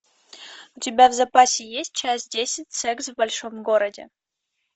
у тебя в запасе есть часть десять секс в большом городе